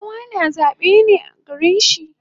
Kowa na zabe ne a garin shi